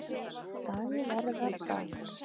Dagverðardal